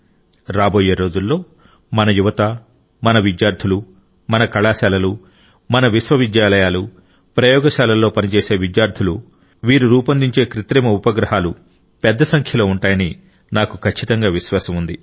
రాబోయే రోజుల్లో మన యువత మన విద్యార్థులు మన కళాశాలలు మన విశ్వవిద్యాలయాలు ప్రయోగశాలల్లో పనిచేసే విద్యార్థులు రూపొందించే కృత్రిమ ఉపగ్రహాలు పెద్ద సంఖ్యలో ఉంటాయని నాకు ఖచ్చితంగా విశ్వాసం ఉంది